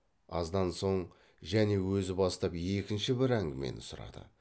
аздан соң және өзі бастап екінші бір әңгімені сұрады